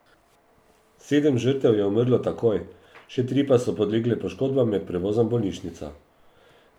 Sedem žrtev je umrlo takoj, še tri pa so podlegle poškodbam med prevozom v bolnišnico.